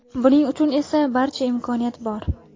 Buning uchun esa barcha imkoniyat bor!